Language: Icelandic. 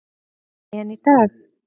En í dag.